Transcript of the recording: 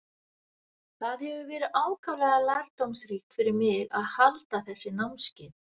Það hefur verið ákaflega lærdómsríkt fyrir mig að halda þessi námskeið.